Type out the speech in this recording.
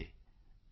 ਨਮਸਕਾਰ